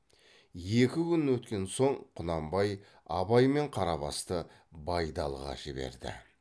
екі күн өткен соң құнанбай абай мен қарабасты байдалыға жіберді